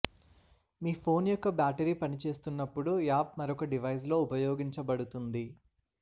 మీ phone యొక్క battery పనిచేస్తున్నప్పుడు app మరొక డివైస్ లో ఉపయోగించబడుతుంది